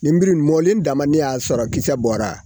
Nenbiri mɔlen dama , ne y'a sɔrɔ kisɛ bɔra.